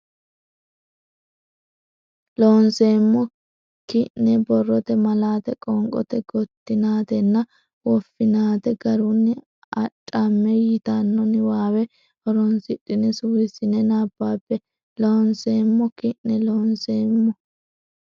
Loonseemmo ki ne borrote malaate qoonqote gottinaatenna woffinaate garunni Adhamme yitanno niwaawe horonsidhine suwissine nabbabbe Loonseemmo ki ne Loonseemmo ki.